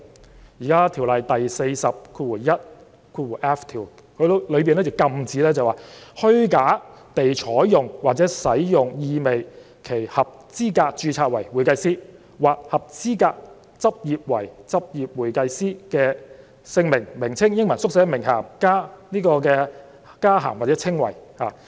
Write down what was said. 《專業會計師條例》第 421f 條禁止任何人"虛假地採用或使用意味其合資格註冊為會計師或合資格執業為執業會計師的姓名或名稱、英文縮寫、名銜、加銜或稱謂"。